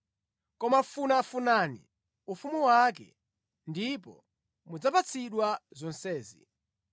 Koma funafunani ufumu wake, ndipo mudzapatsidwa zonsezi.